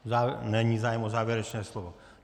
Není zájem o závěrečné slovo.